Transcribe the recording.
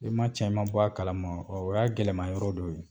E ma cɛnb, e ma bɔ a kalama , o y'a gɛlɛya yɔrɔ dɔ ye.